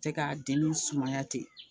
Fɛ ka denninw sumaya ten